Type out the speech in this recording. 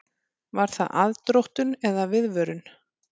Var það aðdróttun eða viðvörun?